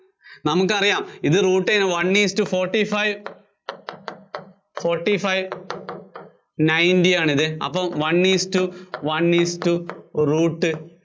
നമുക്കറിയാം ഇതിന്‍റെ root one isto fortyfive, fortyfive ninety ആണിത്. അപ്പോ one isto one isto root